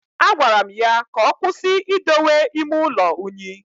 Agwara m ya ka ọkwụsị idowe ime ụlọ unyi